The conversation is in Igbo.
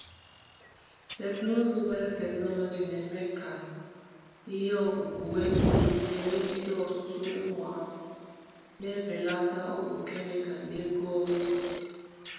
Teknụzụ biotechnology na-eme ka ihe ọkụkụ nwee nguzogide megide ọtụtụ ụmụ ahụhụ, na-ebelata ọgwụ kemikal na ego ọrụ ugbo.